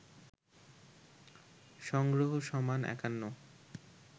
সংগ্রহ সমান ৫১